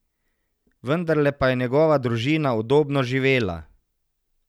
Vendarle pa je njegova družina udobno živela.